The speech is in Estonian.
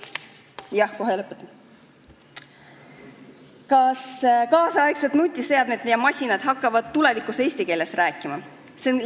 Kas nüüdisaegsed nutiseadmed ja masinad hakkavad tulevikus eesti keeles rääkima?